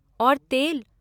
और तेल!